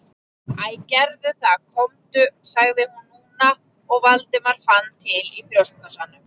Æ, gerðu það komdu- sagði hún núna og Valdimar fann til í brjóstkassanum.